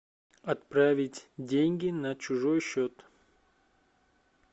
отправить деньги на чужой счет